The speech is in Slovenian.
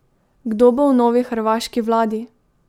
Kdo bo v novi hrvaški vladi?